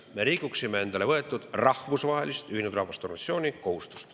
Me rikuksime endale võetud rahvusvahelist, Ühinenud Rahvaste Organisatsiooni kohustust.